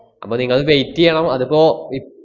അപ്പ നിങ്ങള് wait ചെയ്യണം. അതിപ്പോ ഇ~